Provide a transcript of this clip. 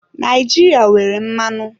Naijiria nwere mmanụ.